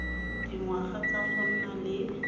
dingwaga tsa go nna le